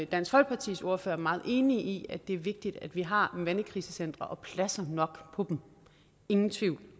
dansk folkepartis ordfører er meget enig i at det er vigtigt at vi har mandekrisecentre og pladser nok på dem ingen tvivl